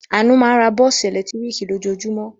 Àánú máa ń ra bọ́ọ́sì ẹ̀lẹ́tíríkì lójoojúmọ́.